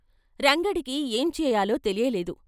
రంగడికి ఏం చేయాలో తెలియలేదు.